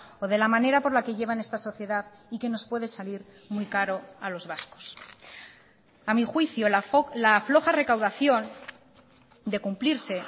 o de la manera por la que llevan esta sociedad y que nos puede salir muy caro a los vascos a mi juicio la floja recaudación de cumplirse